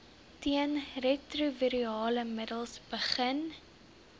teenretrovirale middels begin